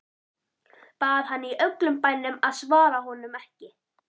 Bað hana í öllum bænum að svara honum ekki.